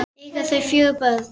Eiga þau fjögur börn.